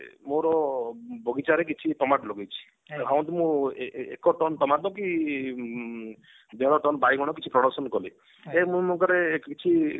ମୋର ବଗିଚାରେ କିଛି ଟମାଟ ଲଗେଇଛି ଧରନ୍ତୁ ମୁଁ ଏକ ଟନ ଟମାଟ କି ଇଁ ଦେଢ ଟନ ବାଇଗଣ କିଛି production କଲି then ମୁଁ କିଛି